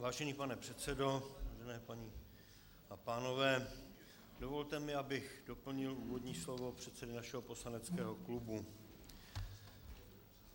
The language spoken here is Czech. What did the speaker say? Vážený pane předsedo, milé paní a pánové, dovolte mi, abych doplnil úvodní slovo předsedy našeho poslaneckého klubu.